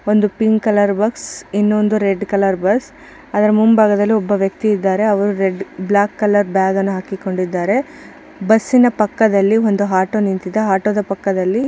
ಒಂದು pink colour bus ಇನೊಂದು red colour bus ಅದರ ಮುಂಭಾಗದಲ್ಲಿ ಒಬ್ಬ ವ್ಯಕ್ತಿ ಇದ್ದಾರೆ ಅವರು ರೆಡ್ ಬ್ಲಾಕ್ ಕಲರ್ ಬ್ಯಾಗ್ ಅನ್ನು ಹಾಕಿಕೊಂಡಿದ್ದರೆ ಬಸ್ಸಿನ ಪಕ್ಕದಲಿ ಒಂದು ಆಟೋ ನಿಂತಿದೆ ಆಟೋದ ಪಕ್ಕದಲ್ಲಿ --